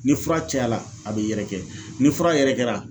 Ni fura cayara a b'i yɛrɛkɛ , ni fura yɛrɛkɛra